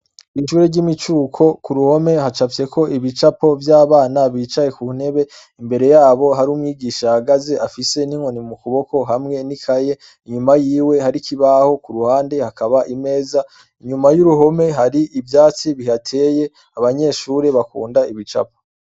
bishure ry'imicuko ku ruhome hacapse ko ibicapo by'abana bicaye ku ntebe imbere yabo hari umwigisha hagaze afise n'inkoni mu kuboko hamwe n'ikaye inyuma y'iwe hari kibaho ku ruhande hakaba imeza inyuma y'uruhome hari ibyatsi bihateye abanyeshure bakunda ibicapo